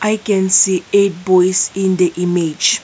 i can see eight boys in the image.